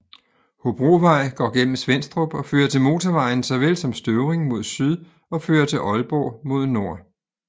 Hobrovej går gennem Svenstrup og fører til motorvejen såvel som Støvring mod syd og fører til Aalborg mod nord